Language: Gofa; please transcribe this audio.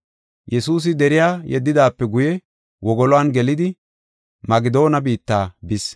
Yesuusi deriya yeddidaape guye wogoluwan gelidi Magedoona biitta bis.